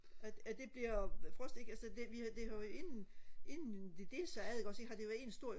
at at det bliver frost ikke altså det vi har det har jo inden inden det delte sig ad ikke også har det jo været en stor